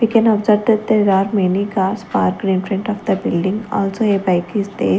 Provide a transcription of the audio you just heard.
We can observe that there are many cars parked in front of the building also a bike is there.